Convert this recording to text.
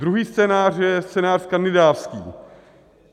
Druhý scénář je scénář skandinávský.